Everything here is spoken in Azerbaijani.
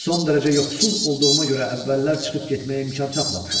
Son dərəcə yoxsul olduğuma görə əvvəllər çıxıb getməyə imkan tapmamışam.